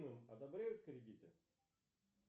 одобряют кредиты